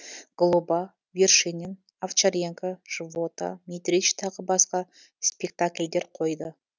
глоба вершинин овчаренко живота митрич тағы басқа спектакльдер қойды